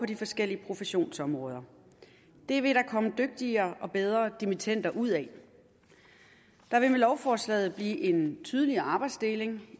de forskellige professionsområder det vil der komme dygtigere og bedre dimittender ud af der vil med lovforslaget blive en tydeligere arbejdsdeling